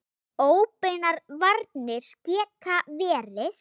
Óbeinar varnir geta verið